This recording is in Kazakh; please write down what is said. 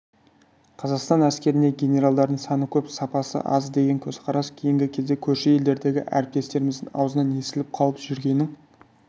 қазақстан әскеріндегі генералдардың саны көп сапасы аз деген көзқарас кейінгі кезде көрші елдердегі әріптестеріміздің ауызынан естіліп қалып жүргенін